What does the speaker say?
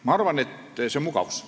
Ma arvan, et põhjus on mugavus.